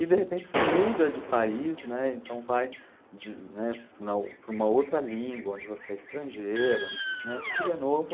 E de repente você muda de país, né, então vai de, né, para uma para uma outra língua, onde você é estrangeiro, onde, né, tudo é novo.